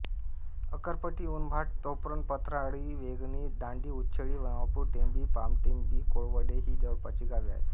अक्करपट्टी उनभाट पोफरण पथराळी वेंगणी दांडी उच्छेळी नवापूर टेंभी पामटेंभी कोळवडे ही जवळपासची गावे आहेत